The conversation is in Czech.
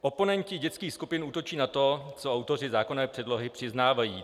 Oponenti dětských skupin útočí na to, co autoři zákonné předlohy přiznávají.